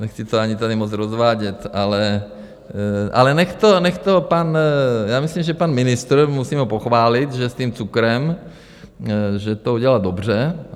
Nechci to ani tady moc rozvádět, ale ať to pan... já myslím, že pan ministr, musím ho pochválit, že s tím cukrem, že to udělal dobře.